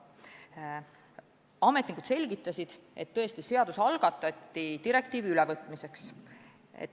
Ametnikud selgitasid, et seaduseelnõu algatati direktiivi ülevõtmiseks.